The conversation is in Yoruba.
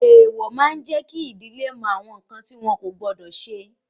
Èèwọ̀ máa jẹ kí àwọn ìdílé mọ awọn nkan ti wọn kò gbọdọ ṣe